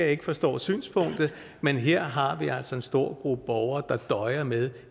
ikke forstår synspunktet men her har vi altså en stor gruppe borgere der døjer med